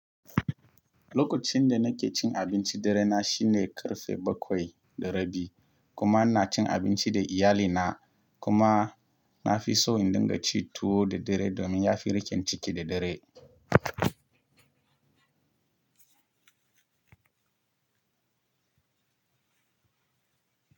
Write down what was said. Lokacin da nake cin abinci dare na shine ƙarfe bakwai da rabi kuma ina cin abinci da iyalina kuma na fi so in dinga ci tuwo da dare domin ya fi riƙen ciki da dare.